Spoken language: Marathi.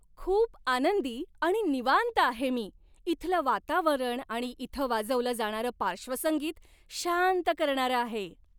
खूप आनंदी आणि निवांत आहे मी, इथलं वातावरण आणि इथं वाजवलं जाणारं पार्श्वसंगीत शांत करणारं आहे!